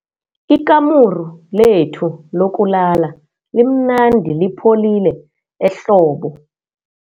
Ikamuru lethu lokulala limnandi lipholile ehlobo.